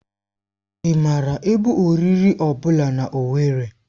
Ị maara ebe oriri ọ bụla na Owerri?